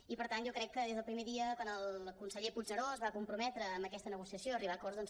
i per tant jo crec que des del primer dia quan el conseller puigneró es va comprometre amb aquesta negociació a arribar a acords doncs